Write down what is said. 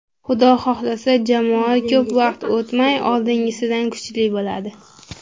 Xudo xohlasa, jamoa ko‘p vaqt o‘tmay oldingisidan kuchli bo‘ladi”.